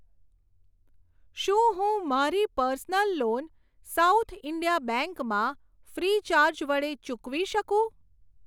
શું હું મારી personal loan South India bank માં ફ્રીચાર્જ વડે ચૂકવી શકું?